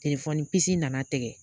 Telefɔni nana tigɛ.